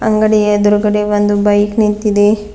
ಅಂಗಡಿ ಎದ್ರುಗಡೆ ಒಂದು ಬೈಕ್ ನಿಂತಿದೆ.